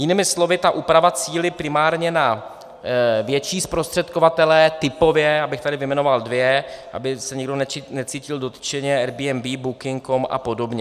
Jinými slovy, ta úprava cílí primárně na větší zprostředkovatele, typově, abych tady vyjmenoval dva, aby se nikdo necítil dotčeně, Airbnb, booking.com a podobně.